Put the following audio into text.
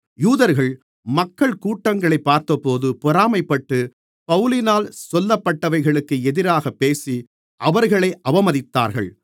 யூதர்கள் மக்கள் கூட்டங்களைப் பார்த்தபோது பொறாமைப்பட்டு பவுலினால் சொல்லப்பட்டவைகளுக்கு எதிராகப் பேசி அவர்களை அவமதித்தார்கள்